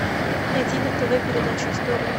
найди на тв передачу история